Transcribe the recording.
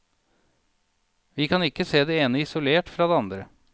Vi kan ikke se det ene isolert fra det andre.